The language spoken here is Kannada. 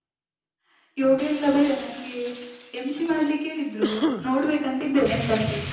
ಯೋಗ ಎಲ್ಲ ಬೇಡ. ನಂಗೇ MC ಮಾಡ್ಲಿಕ್ಕೆ ಹೇಳಿದ್ರು, ನೋಡ್ಬೇಕು ಅಂತ ಇದ್ದೇನೆ ಎಂತ ಅಂತ ಹೇಳಿ.